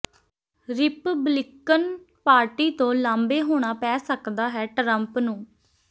Republican party ਤੋਂ ਲਾਂਭੇ ਹੋਣਾ ਪੈ ਸਕਦਾ ਹੈ ਟਰੰਪ ਨੂੰ